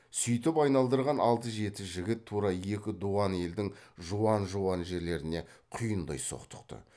сүйтіп айналдырған алты жеті жігіт тура екі дуан елдің жуан жуан жерлеріне құйындай соқтықты